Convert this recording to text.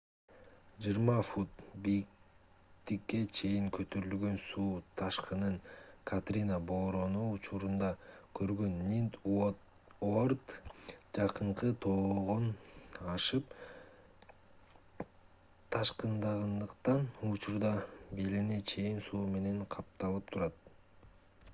20 фут бийиктикке чейин көтөрүлгөн суу ташкынын катрина бороону учурунда көргөн нинт уорд жакынкы тогоон ашып ташкындагандыктан учурда белине чейин суу менен капталып турат